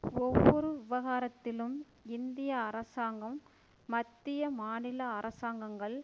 ஒவ்வொரு விவகாரத்திலும் இந்திய அரசாங்கம் மத்திய மாநில அரசாங்கங்கள்